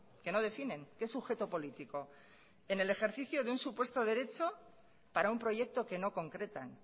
que no definen qué sujeto político en el ejercicio de un supuesto derecho para un proyecto que no concretan